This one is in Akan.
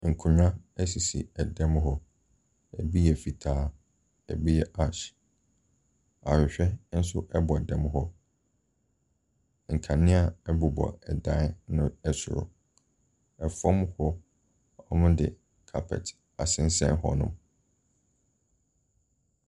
Nkonnwa asisi dan mu hɔ, ɛbi yɛ fitaa, ɛbi yɛ ash, ahwehwɛ nso ɛbɔ dan mu hɔ, nkanea nso ɛbobɔ dan no ɛsoro, fam hɔ, wɔde carpet asensɛn hɔnom.